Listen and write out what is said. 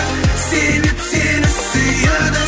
себеп сені сүйеді